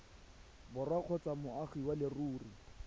borwa kgotsa moagi wa leruri